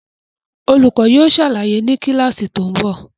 Olùkọ́ yóò ṣàlàyé ni kíláàsì tó ń bọ̀